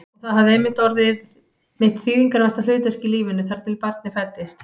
Og það hafði einmitt orðið mitt þýðingarmesta hlutverk í lífinu, þar til barnið fæddist.